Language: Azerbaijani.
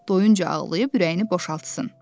doyunca ağlayıb ürəyini boşaltsın.